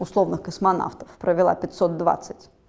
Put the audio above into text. условно космонавтов провела пятьсот двадцать